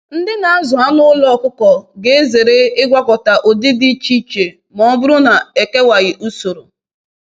Ndị na-azụ anụ ụlọ ọkụkọ ga-ezere ịgwakọta ụdị dị iche iche ma ọ bụrụ na e kewaghị usoro